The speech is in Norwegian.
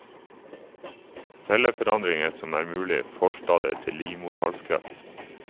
Celleforandringer som er mulige forstadier til livmorhalskreft.